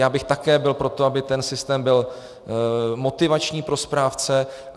Já bych také byl pro to, aby ten systém byl motivační pro správce.